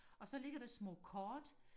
og så ligger der små kort